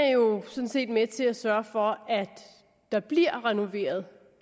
er jo sådan set med til at sørge for at der bliver renoveret